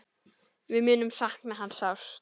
Við munum sakna hans sárt.